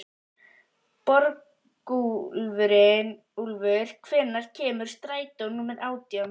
Borgúlfur, hvenær kemur strætó númer átján?